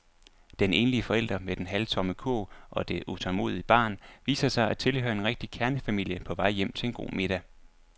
Den enlige forælder med den halvtomme kurv og det utålmodige barn viser sig at tilhøre en rigtig kernefamilie på vej hjem til en god middag.